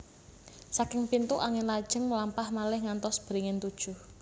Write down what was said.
Saking pintu angin lajeng mlampah malih ngantos beringin tujuh